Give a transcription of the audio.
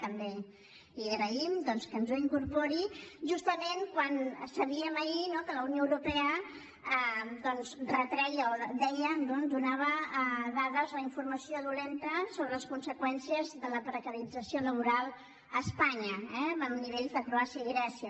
també li agraïm doncs que ens ho incorpori justament quan sabíem ahir no que la unió europea retreia o deia donava dades o informació dolenta sobre les conseqüències de la precarització laboral a espanya eh a nivells de croàcia i grècia